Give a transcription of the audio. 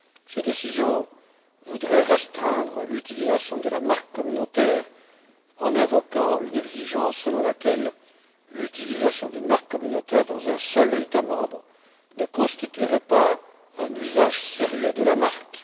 Ces décisions voudraient restreindre l'utilisation de la marque communautaire en invoquant une exigence selon laquelle l'utilisation d'une marque communautaire dans un seul État membre ne constituerait pas un usage sérieux de la marque.